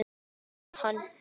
Togi hann.